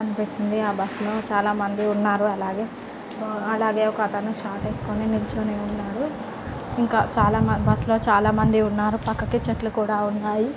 కనిపిస్తుంది. ఆ బస్ లో చాల మంది ఉన్నారు. అలాగే అలాగే ఒక అతను షార్ట్ వేసుకుని నిల్చొని ఉన్నాడు. ఇంకా చాలా మంది బస్సు లో చాలా మంది ఉన్నారు. పక్కకి చెట్లు కూడా ఉన్నాయి.